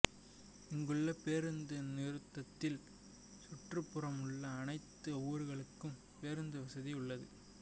இங்குள்ள பேருந்து நிறுத்தத்தில் சுற்றுப்புறமுள்ள அனைத்து ஊர்களுக்கும் பேருந்துவசதி உள்ளது